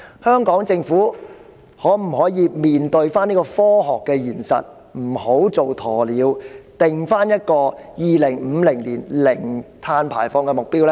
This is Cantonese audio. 香港政府可否面對這個科學現實，不要做"鴕鳥"，而制訂2050年零碳排放的目標呢？